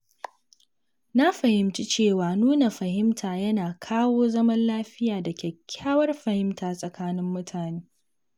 Na fahimci cewa nuna fahimta yana kawo zaman lafiya da kyakkyawar fahimta tsakanin mutane.